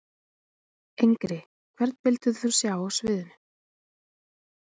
Engri Hvern vildir þú sjá á sviði?